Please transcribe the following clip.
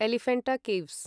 Elephanta caves